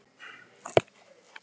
Fá eða engin úrræði til boða